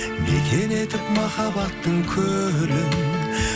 мекен етіп махаббаттың көлін